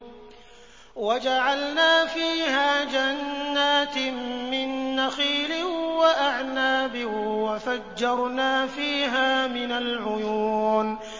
وَجَعَلْنَا فِيهَا جَنَّاتٍ مِّن نَّخِيلٍ وَأَعْنَابٍ وَفَجَّرْنَا فِيهَا مِنَ الْعُيُونِ